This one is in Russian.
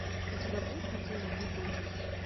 у тебя будет картина битлджюс